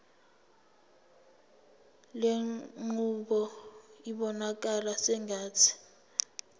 lenqubo ibonakala sengathi